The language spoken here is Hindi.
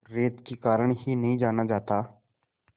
रेत के कारण ही नहीं जाना जाता